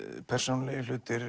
persónulegir hlutir